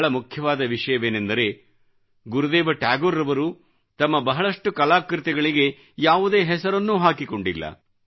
ಬಹಳ ಮುಖ್ಯವಾದ ವಿಷಯವೇನೆಂದರೆ ಗುರುದೇವ ಠಾಗೋರ್ ಅವರು ತಮ್ಮ ಬಹಳಷ್ಟು ಕಲಾಕೃತಿಗಳಿಗೆ ಯಾವುದೇ ಹೆಸರನ್ನೂ ಹಾಕಿಕೊಂಡಿಲ್ಲ